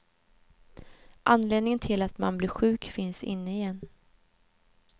Anledningen till att man blir sjuk finns inne i en.